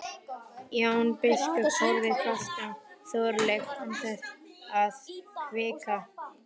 Jón biskup horfði fast á Þorleif án þess að hvika.